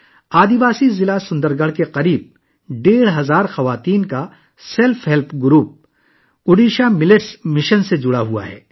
قبائلی ضلع سندر گڑھ کی تقریباً 1500 خواتین کا ایک خود امدادی گروپ اوڈیشہ ملیٹس مشن سے وابستہ ہے